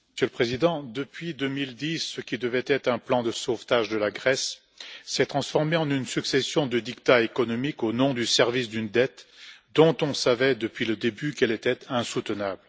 Monsieur le Président, depuis 2010, ce qui devait être un plan de sauvetage de la Grèce s'est transformé en une succession de diktats économiques au nom du service d'une dette, dont on savait depuis le début qu'elle était insoutenable.